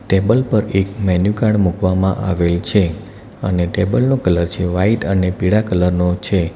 Table પર એક menu card મૂકવામાં આવેલ છે અને ટેબલ નો કલર છે વાઈટ અને પીળા કલર નો છે.